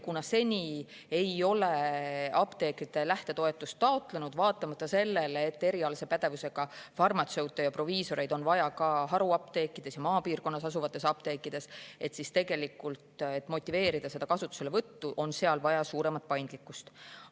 Kuna seni ei ole apteekrid lähtetoetust taotlenud, vaatamata sellele, et erialase pädevusega farmatseute ja proviisoreid on vaja ka haruapteekides ja maapiirkonnas asuvates apteekides, siis selleks, et motiveerida selle kasutuselevõttu, on vaja suuremat paindlikkust.